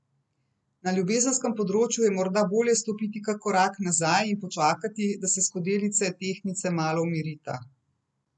Na ljubezenskem področju je morda bolje stopiti kak korak nazaj in počakati, da se skodelici tehtnice malo umirita.